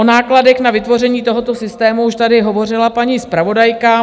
O nákladech na vytvoření tohoto systému už tady hovořila paní zpravodajka.